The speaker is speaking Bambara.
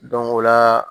o la